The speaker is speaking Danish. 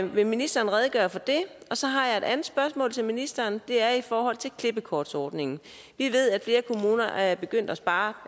vil ministeren redegøre for det så har jeg et andet spørgsmål til ministeren det er i forhold til klippekortsordningen vi ved at flere kommuner er begyndt at spare